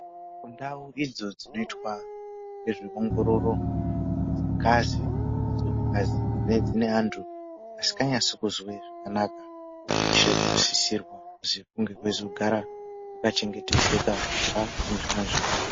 Kundau idzi dzinoitwa ngezveongororo dzengazi dzeantu dzinenge dziine antu asikanase kuzwe zvakanaka kunosise kuchengetedzwa sekunge kuine antu kubva kunezvimwe zvirwere.